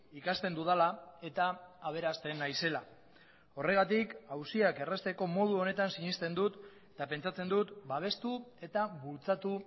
ikasten dudala eta aberasten naizela horregatik auziak errazteko modu honetan sinesten dut eta pentsatzen dut babestu eta bultzatu